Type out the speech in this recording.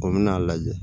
O bɛna a lajɛ